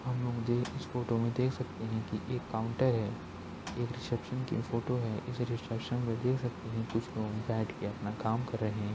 इस फोटो में देख सकते हैं की एक काउंटर है। एक रिसेप्सन की फोटो है। इस रिसेप्सन में देख सकते हैं कुछ लोग बैठ के अपना काम कर रहे हैं।